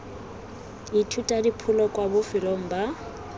ithuta dipholo kwa bofelong ba